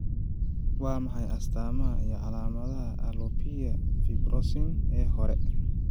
Waa maxay astamaha iyo calaamadaha alopecia fibrosing ee hore?